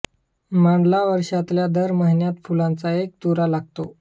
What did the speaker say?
माडाला वर्षातल्या दर महिन्यात फुलांचा एक तुरा लागतो